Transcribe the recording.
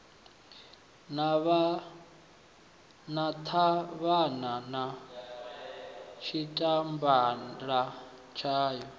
na ṱhavhana na tshipambala tshayo